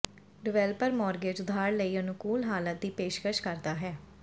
developer mortgage ਉਧਾਰ ਲਈ ਅਨੁਕੂਲ ਹਾਲਾਤ ਦੀ ਪੇਸ਼ਕਸ਼ ਕਰਦਾ ਹੈ